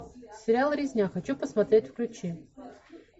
сериал резня хочу посмотреть включи